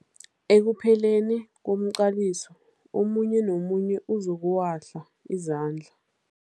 Ekupheleni komqaliso omunye nomunye uzokuwahla izandla.